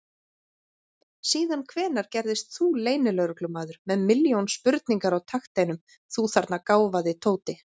Síðan hvenær gerðist þú leynilögreglumaður með milljón spurningar á takteinum, þú þarna gáfaði Tóti!